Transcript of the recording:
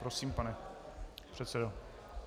Prosím, pane předsedo.